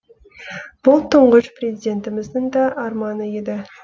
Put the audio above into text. бұл тұңғыш президентіміздің да арманы еді